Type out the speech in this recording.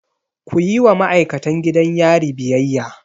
Kuyi wa ma'aikatan gidan yari biyayya!